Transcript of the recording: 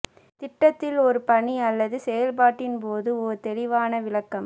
திட்டத்தில் ஒரு பணி அல்லது செயல்பாட்டின் போது ஒரு தெளிவான விளக்கம்